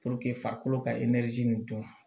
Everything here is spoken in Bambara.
farikolo ka nin dun